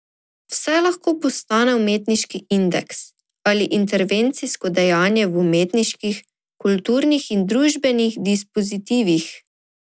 Vse lahko postane umetniški indeks ali intervencijsko dejanje v umetniških, kulturnih in družbenih dispozitivih.